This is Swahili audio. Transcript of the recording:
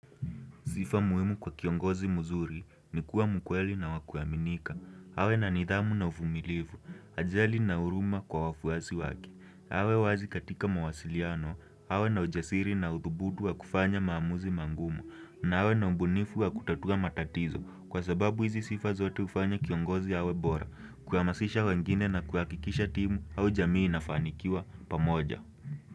Sifa muhimu kwa kiongozi muzuri ni kuwa mkweli na wa kuaminika awe na nidhamu na uvumilivu ajali na huruma kwa wafuasi wake awe wazi katika mawasiliano awe na ujasiri na uthubutu wa kufanya maamuzi mangumu na awe na ubunifu wa kutatua matatizo kwa sababu hizi sifa zote ufanya kiongozi awe bora kuhamasisha wengine na kuhakikisha timu au jamii nafanikiwa pamoja.